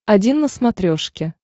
один на смотрешке